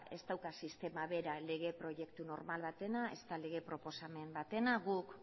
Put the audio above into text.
ez dauka sistema bera lege proiektu normal batena ezta lege proposamen batena guk